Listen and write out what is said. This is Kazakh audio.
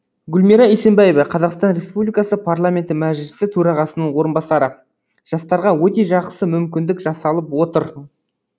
гүлмира исимбаева қазақстан республикасы парламенті мәжілісі төрағасының орынбасары жастарға өте жақсы мүмкіндік жасалып отыр